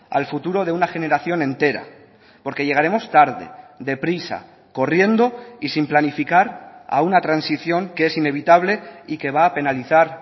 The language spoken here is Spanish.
al futuro de una generación entera porque llegaremos tarde deprisa corriendo y sin planificar a una transición que es inevitable y que va a penalizar